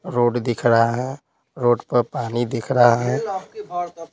Road दिख रहा है रोड पर पानी दिख रहा है।